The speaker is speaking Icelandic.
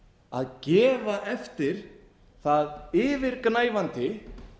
að gefa eftir það yfirgnæfandi